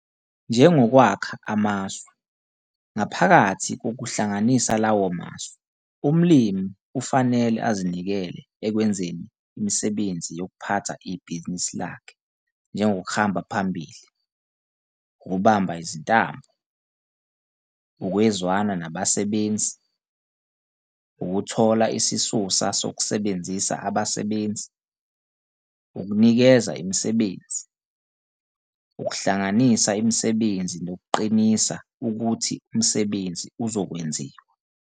Njengokwakha amasu, ngaphakathi kokuhlanganisa lawo masu, umlimi ufanele azinikele ekwenzeni imisebenzi yokuphatha ibhizinisi lakhe njengokuhamba phambili, ukubamba izintambo, ukwezwana nabasebenzi, ukuthola isisusa sokusebenzisa abasebenzi, ukunikeza imisebenzi, ukuhlanganisa imisebenzi nokuqinisa ukuthi umsebenzi uzokwenziwa.